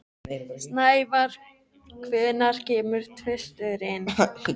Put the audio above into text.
Snævar, hvenær kemur tvisturinn?